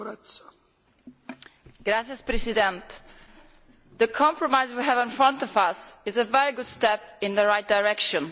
Mr President, the compromise we have in front of us is a very good step in the right direction.